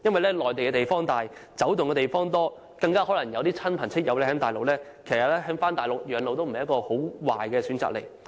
內地面積廣闊，活動空間大，更可能有親友在內地居住，返回內地養老亦不是一個壞的選擇。